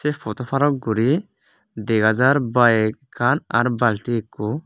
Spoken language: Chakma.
se podo parot guri dega jar bikan ar bulti ekko.